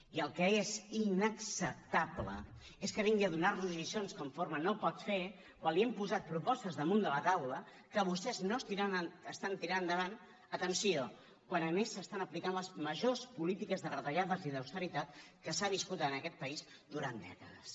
i el que és inacceptable és que vingui a donar nos lliçons conforme no ho pot fer quan li hem posat propostes damunt de la taula que vostè no està tirant endavant atenció quan a més s’estan aplicant les majors polítiques de retallades i d’austeritat que s’han viscut en aquest país durant dècades